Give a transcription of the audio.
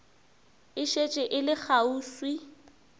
e šetše e le kgauswi